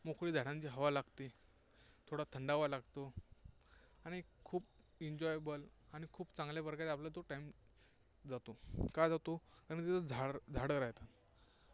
मोकळी झाडांची हवा लागते, थोडा थंडावा लागतो आणि खूप enjoyable आणि खूप चांगल्याप्रकारे आपला तो time जातो. का जातो? कारण तिथे झाडं राहतात.